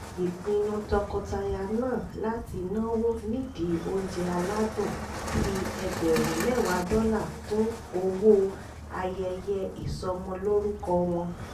ìpinnu tọkọtaya náà láti náwó nídìí oúnjẹ aládùn fi ẹgbẹ̀rún mẹ́wàá dọ́là kún owó ayẹyẹ ìsọmọlórúkọ wọn